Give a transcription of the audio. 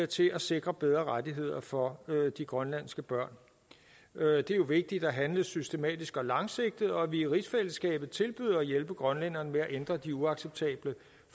til at sikre bedre rettigheder for de grønlandske børn det er jo vigtigt at handle systematisk og langsigtet og at vi i rigsfællesskabet tilbyder at hjælpe grønlænderne med at ændre de uacceptable